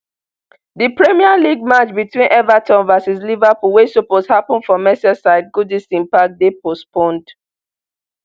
di premier league match between everton v liverpool wey suppose happun for merseyside goodison park dey postponed